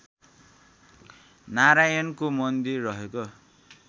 नारायणको मन्दिर रहेको